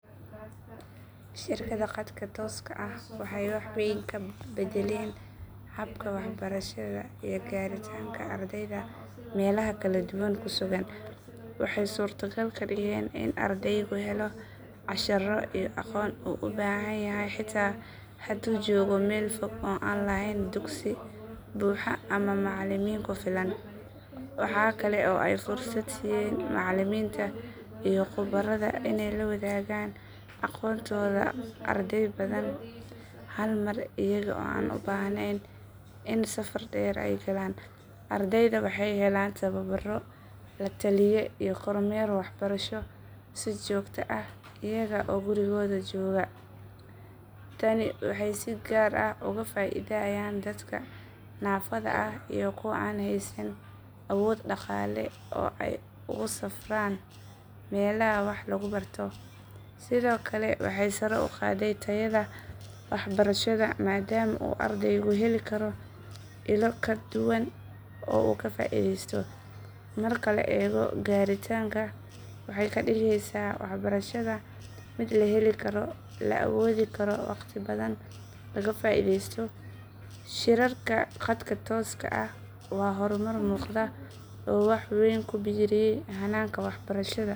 Shirarka khadka tooska ah waxay wax weyn ka beddeleen habka waxbarashada iyo gaaritaanka ardayda meelaha kala duwan ku sugan. Waxay suurtogal ka dhigeen in ardaygu helo casharro iyo aqoon uu u baahan yahay xitaa hadduu joogo meel fog oo aan lahayn dugsi buuxa ama macallimiin ku filan. Waxaa kale oo ay fursad siiyeen macallimiinta iyo khubarada inay la wadaagaan aqoontooda arday badan hal mar iyaga oo aan u baahnayn in safar dheer ay galaan. Ardayda waxay ku helayaan tababaro, la taliye iyo kormeer waxbarasho si joogto ah iyaga oo gurigooda jooga. Tani waxay si gaar ah uga faa’iidayaan dadka naafada ah iyo kuwa aan haysan awood dhaqaale oo ay ugu safraan meelaha wax lagu barto. Sidoo kale waxay sare u qaaday tayada waxbarashada maadaama uu ardaygu heli karo ilo kala duwan oo uu ka faa’iidaysto. Marka la eego gaaritaanka, waxay ka dhigaysaa waxbarashada mid la heli karo, la awoodi karo, waqti badanna laga faa’iidaysto. Shirarka khadka tooska ah waa horumar muuqda oo wax weyn ku biiriyay hanaanka waxbarashada.